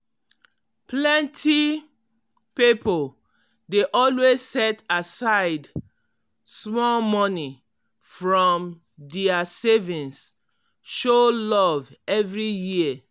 plenty pipo dey always set aside small money from dia savings show love every year.